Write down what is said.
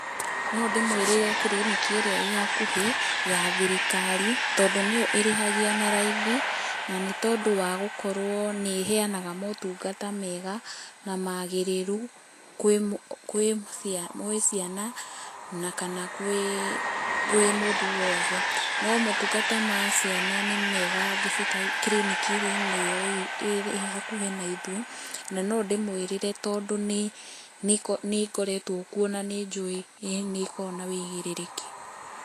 No ndĩmwĩrĩre clinic ĩrĩa ĩhakuhĩ ya thirikari, tondũ nĩyo ĩrĩhagia na raithi, na nĩtondũ ni gũkorwo nĩ iheanaga motungata mega na magĩrĩru kwĩ ciana na kana kwĩ mũndũ wothe. No motungata ma ciana nĩ mega kiriniki-inĩ ĩyo ĩhakuhĩ na ithuĩ, na no ndĩmwĩrĩre tondũ nĩ ngoretwo kuo na nĩ njũĩ nĩ ĩkoragwo na wũigĩrĩrĩki.